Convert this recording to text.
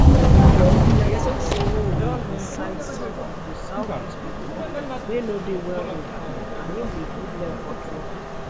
and i tink say im dey incite some of di southeast pipo wey no dey well informed and im dey put dem for trouble